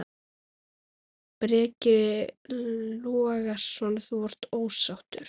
Breki Logason: Þú ert ósáttur?